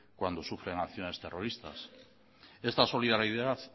cuando sufren acciones terroristas esta solidaridad